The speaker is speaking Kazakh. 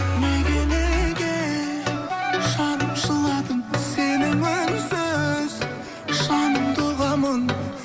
неге неге жаным жыладың сенің үнсіз жаныңды ұғамын